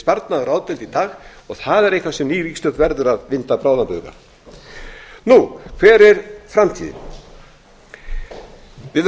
og ráðdeild í dag og það er eitthvað sem ný ríkisstjórn verður að vinda bráðan bug að hver er framtíðin við verðum að byrja á því